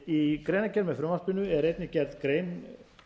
í greinargerð með frumvarpinu er einnig gerð grein